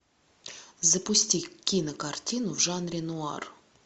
запусти кинокартину в жанре нуар